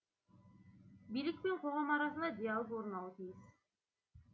билік пен қоғам арасында диалог орнауы тиіс